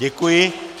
Děkuji.